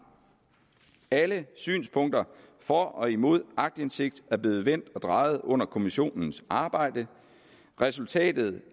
alle synspunkter for og imod aktindsigt er blevet vendt og drejet under kommissionens arbejde og resultatet